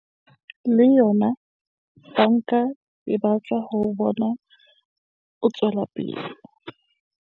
Le yona banka e batla ho o bona o tswela pele.